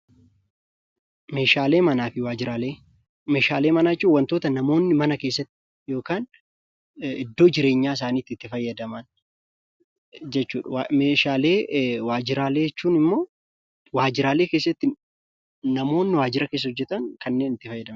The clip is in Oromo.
Meeshaalee mana jechuun wantoota namoonni mana keessatti yookaan iddoo jireenyaa isaaniitti itti fayyadaman jechuudha. Meeshaalee waajjiraalee jechuun ammoo namoonni waajjira keessatti hojjetan kanneen itti fayyadamanidha.